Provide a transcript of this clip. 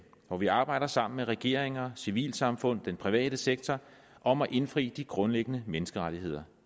hvor vi arbejder sammen med regeringer civilsamfund og den private sektor om at indfri de grundlæggende menneskerettigheder